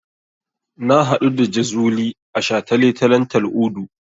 Na haɗu da Jazuli a shataletalen Tal'udu.